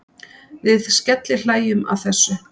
Við skellihlæjum að þessu.